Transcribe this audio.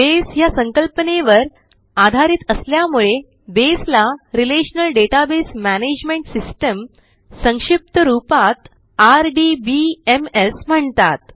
बसे ह्या संकल्पनेवर आधारित असल्यामुळे बसे ला रिलेशनल डेटाबेस मॅनेजमेंट सिस्टम संक्षिप्त रूपात आरडीबीएमएस म्हणतात